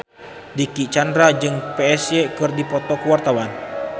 Dicky Chandra jeung Psy keur dipoto ku wartawan